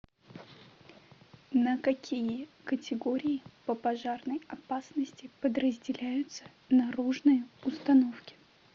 на какие категории по пожарной опасности подразделяются наружные установки